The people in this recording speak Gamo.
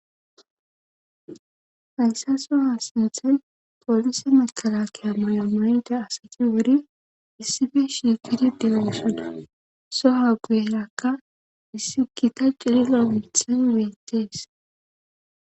Hayssa so ha sinthen poolise makala kiya mayo mayida asati wuri issibe shiqidi de7oosana so ha guyerakka issi gita cirilamithan weettees.